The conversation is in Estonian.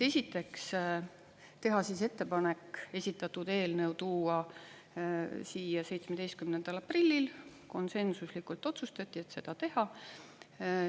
Esiteks teha ettepanek esitatud eelnõu tuua siia 17. aprillil, konsensuslikult otsustati seda teha.